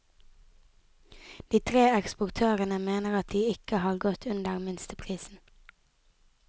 De tre eksportørene mener at de ikke har gått under minsteprisen.